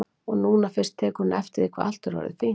Og nú fyrst tekur hún eftir því hvað allt er orðið fínt.